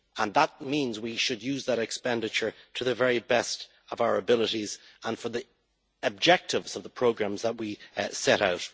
That means that we should use that expenditure to the very best of our abilities and for the objectives of the programmes that we set out.